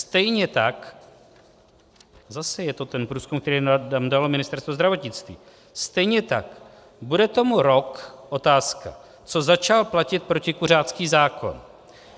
Stejně tak - zase je to ten průzkum, který nám dalo Ministerstvo zdravotnictví - stejně tak: Bude tomu rok - otázka - co začal platit protikuřácký zákon.